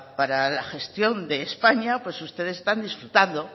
para la gestión de españa pues ustedes están disfrutando